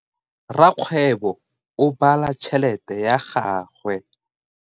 Rakgwebo o bala tšhelete ya gagwe.